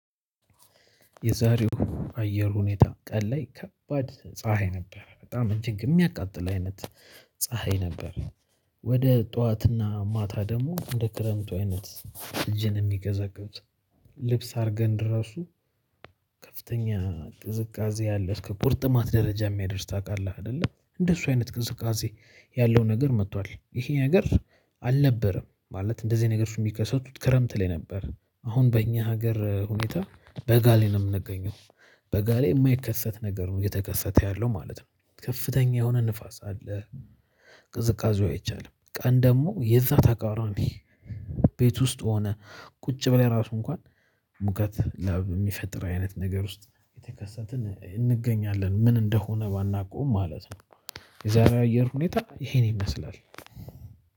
የዛሬው አየር ሁኔታ ቀን ላይ ከባድ ፀሀይ ነበር። በጣም እንጂ የሚያቃጥል አይነት ፀሀይ ነበር። ወደ ጠዋትና ማታ ደግሞ እንደ ክረምቱ አይነት እጅን የሚቀወቅዝ ልብስ አድርገን ድረሱ ከፍተኛ ቅዝቃዜ ያለ እስከ ቁርጥማት ደረጃ የሚያደርስ ታውቃለህ። አይደለ እንደሱ አይነት ቅዝቃዜ ያለው ነገር መጥቷል ይሄ ነገር አልነበረም ማለት እንደዚህ አይነት ነገር እሱ የሚከሰቱት ክረምት ላይ ነበር። አሁን በእኛ ሀገር ሁኔታ በጋ ላይ ነው የምንገኘው በጋሌ የማይከሰት ነገር ነው። እየተከሰተ ያለው ማለት ነው ከፍተኛ የሆነ ንፋስ አለ። ቅዝቃዜው አይቻልም። ቀን ደግሞ የዛ ተቃራሚ ቤት ውስጥ ሆነ ቁጭ ብለን ራሱ እንኳን ሙቀት ላብ የሚፈጥር አይነት ነገር ውስጥ የተከሰትን እንገኛለን። ምን እንደሆነ ባናቀውም ማለት ነው የዛሬ አየር ሁኔታ ይሄን ይመስላል።